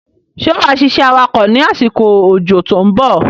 Ṣé wá ṣiṣẹ́ awakọ̀ ni àsìkò ójó to ń bọ̀?